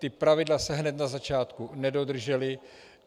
Ta pravidla se hned na začátku nedodržela.